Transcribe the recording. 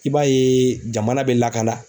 I b'a ye jamana bɛ lakana.